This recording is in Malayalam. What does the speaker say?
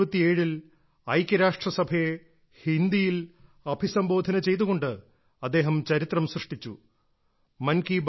1977 ൽ ഐക്യരാഷ്ട്രസഭയെ ഹിന്ദിയിൽ അഭിസംബോധന ചെയ്തുകൊണ്ട് അദ്ദേഹം ചരിത്രം സൃഷ്ടിച്ചു